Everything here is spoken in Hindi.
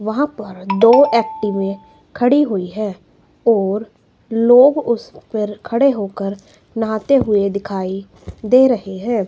वहाँ पर दो एक्टिवे खड़ी हुई हैं और लोग उस पर खड़े होकर नहाते हुए दिखाई दे रहें हैं।